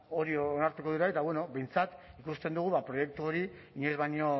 hori onartuko dira eta bueno behintzat ba ikusten dugu proiektu hori inoiz baino